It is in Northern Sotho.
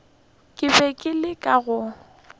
ke be ke leka go